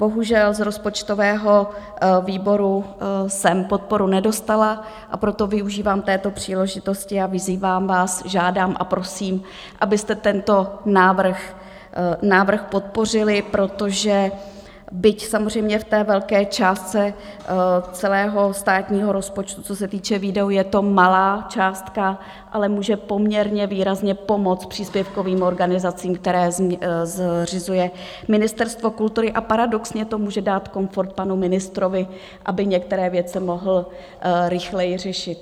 Bohužel z rozpočtového výboru jsem podporu nedostala, a proto využívám této příležitosti a vyzývám vás, žádám a prosím, abyste tento návrh podpořili, protože byť samozřejmě v té velké částce celého státního rozpočtu, co se týče výdajů, je to malá částka, ale může poměrně výrazně pomoct příspěvkovým organizacím, které zřizuje Ministerstvo kultury, a paradoxně to může dát komfort panu ministrovi, aby některé věci mohl rychleji řešit.